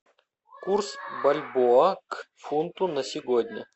курс бальбоа к фунту на сегодня